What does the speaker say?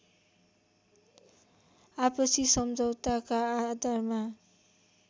आपसी सम्झौताका आधारमा